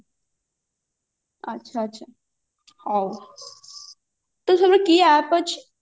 ଆଚ୍ଛା ଆଛା ହଉ ତ ସବୁ କି app ଅଛି